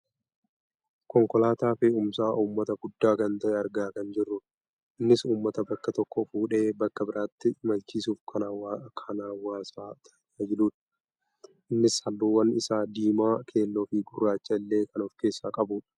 konkolaataa fe'umsa uummataa guddaa kan ta'e argaa kan jirrudha. innis uummata bakka tokkoo fuudhee bakka biraatti imalchiisuuf kan hawaasa tajaajidhu. innis halluun isaa diimaa, keelloofi gurraacha illee kan of keessaa qabudha.